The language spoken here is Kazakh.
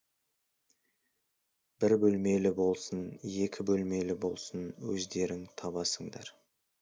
бір бөлмелі болсын екі бөлмелі болсын өздерің табасыңдар